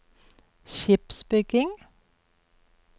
skipsbygging